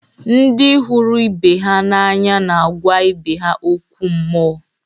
ndị hụrụ ibe ha n’anya na-agwa ibe ha okwu mmụọ